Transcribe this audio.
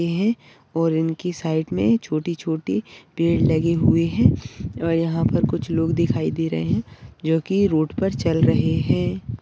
है और इनकी साइड मे छोटी-छोटी पेड़ लगे हुए है अह यहाँ पर कुछ लोग दिखाई दे रहे है जो की रोड पर चल रहे है।